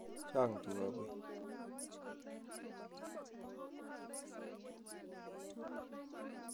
Chang tuka koi